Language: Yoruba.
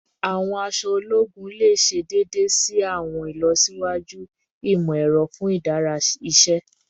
Awọn aṣọ ologun le ṣe deede si awọn ilọsiwaju imọ-ẹrọ fun imudara iṣẹ